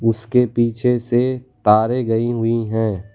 उसके पीछे से तारें गई हुई हैं।